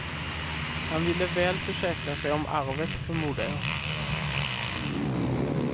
Han ville väl försäkra sig om arvet förmodar jag.